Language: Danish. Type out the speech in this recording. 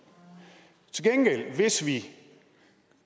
hvis vi